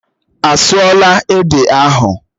Á sụọ là ede ahụ?